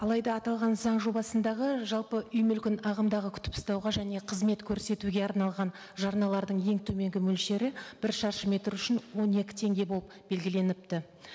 алайда аталған заң жобасындағы жалпы үй мүлкін ағымдағы күтіп ұстауға және қызмет көрсетуге арналған жарналардың ең төменгі мөлшері бір шаршы метр үшін он екі теңге болып белгіленіпті